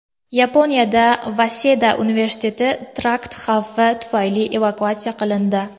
Yaponiyada Vaseda universiteti terakt xavfi tufayli evakuatsiya qilindi.